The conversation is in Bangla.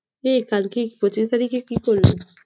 এ কালকে পঁচিশ তারিখে কি করলি?